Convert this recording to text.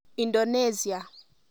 Indonesia.